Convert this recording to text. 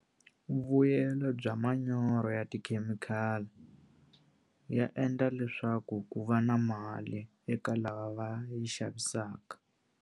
Vuyelo bya manyoro ya tikhemikhali ya endla leswaku ku va na mali eka lava va yi xavisaka.